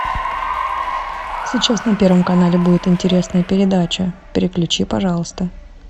сейчас на первом канале будет интересная передача переключи пожалуйста